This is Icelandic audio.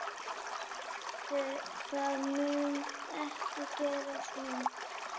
Það mun ekki gerast nú.